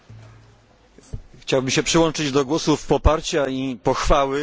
Chciałbym się przyłączyć do głosów poparcia i pochwały tej inicjatywy.